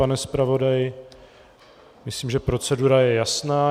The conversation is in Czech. Pane zpravodaji, myslím, že procedura je jasná.